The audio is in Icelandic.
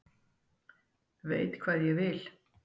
Veit hvað ég vil.